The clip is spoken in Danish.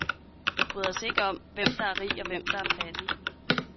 Vi bryder os ikke om, hvem der er rig, og hvem der er fattig.